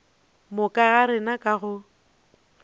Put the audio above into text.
moka ga rena ka go